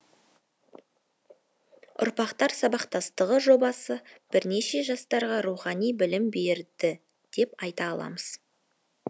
ұрпақтар сабақтастығы жобасы бірнеше жастарға рухани білім берді деп айта аламыз